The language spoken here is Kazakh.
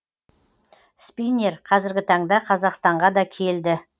спиннер қазіргі таңда қазақстанға да келді